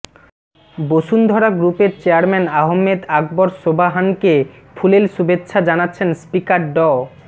বসুন্ধরা গ্রুপের চেয়ারম্যান আহমেদ আকবর সোবহানকে ফুলেল শুভেচ্ছা জানাচ্ছেন স্পিকার ড